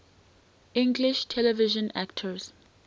english television actors